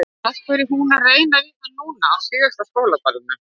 Af hverju er hún að reyna við hann núna, á síðasta skólaballinu?